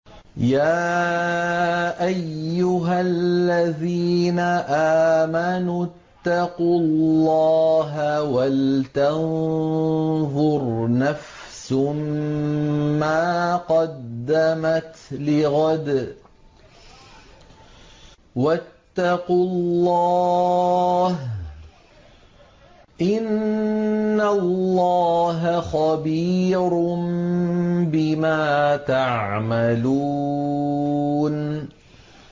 يَا أَيُّهَا الَّذِينَ آمَنُوا اتَّقُوا اللَّهَ وَلْتَنظُرْ نَفْسٌ مَّا قَدَّمَتْ لِغَدٍ ۖ وَاتَّقُوا اللَّهَ ۚ إِنَّ اللَّهَ خَبِيرٌ بِمَا تَعْمَلُونَ